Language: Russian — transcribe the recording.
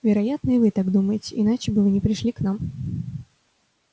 вероятно и вы так думаете иначе бы вы не пришли к нам